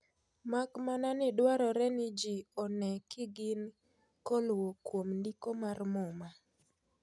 "Mak mana ni dwaroreni jii onee kigin koluo kwom ndiko mar muma."